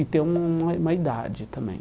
E ter um um um uma idade também.